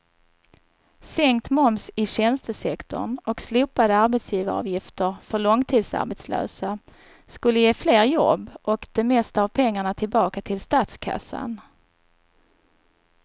Sänkt moms i tjänstesektorn och slopade arbetsgivaravgifter för långtidsarbetslösa skulle ge fler jobb och det mesta av pengarna tillbaka till statskassan.